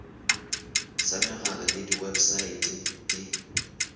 sa megala le websaete di